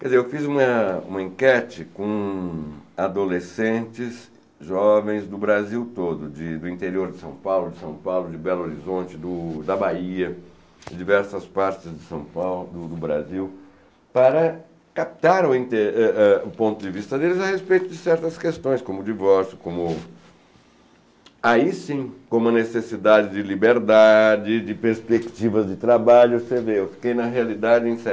Quer dizer, eu fiz uma uma enquete com adolescentes jovens do Brasil todo, de do interior de São Paulo, de São Paulo, de Belo Horizonte, do da Bahia, de diversas partes de São Paulo, do do Brasil, para captar eh é o ponto de vista deles a respeito de certas questões, como o divórcio, como... Aí sim, com uma necessidade de liberdade, de perspectiva de trabalho, você vê, eu fiquei na realidade em